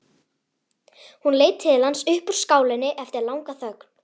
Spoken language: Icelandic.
Hún leit til hans upp úr skálinni eftir langa þögn.